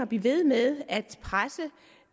blive ved med at presse